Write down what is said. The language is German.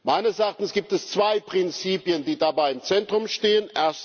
Meines Erachtens gibt es zwei Prinzipien, die dabei im Zentrum stehen.